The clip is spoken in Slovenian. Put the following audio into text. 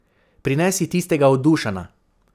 Prinesi tistega od Dušana.